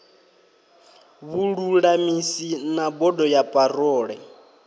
vhululamisi na bodo ya parole